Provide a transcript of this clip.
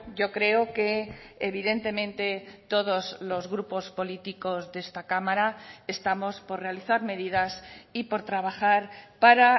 yo creo que evidentemente todos los grupos políticos de esta cámara estamos por realizar medidas y por trabajar para